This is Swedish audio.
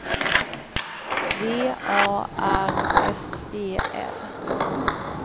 V A R S E L